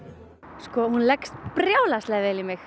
sko hún leggst brjálæðislega vel í mig